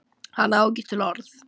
Hann á ekki til orð.